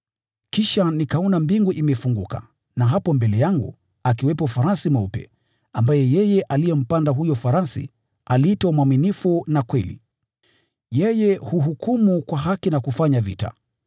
Kisha nikaona mbingu imefunguka na hapo mbele yangu akiwepo farasi mweupe, ambaye yeye aliyempanda aliitwa Mwaminifu na Kweli. Yeye huhukumu kwa haki na kufanya vita.